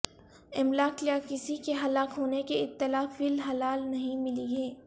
املاک یا کسی کے ہلاک ہونے کی اطلاع فی الحال نہیں ملی ہے